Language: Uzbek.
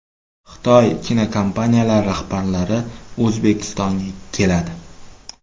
Xitoy kinokompaniyalari rahbarlari O‘zbekistonga keladi.